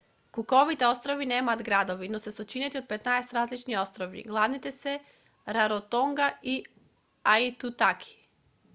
куковите острови немаат градови но се сочинети од 15 различни острови главните се раротонга и аитутаки